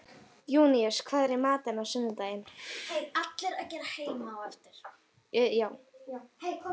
Júníus, hvað er í matinn á sunnudaginn?